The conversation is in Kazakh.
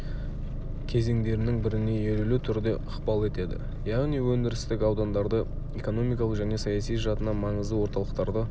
кезеңдерінің біріне елеулі түрде ықпал етеді яғни өндірістік аудандарды экономикалық және саяси жатынан маңызды орталықтарды